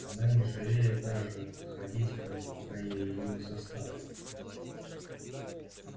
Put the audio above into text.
она не желает даже подходить к ним пока я её не заставлю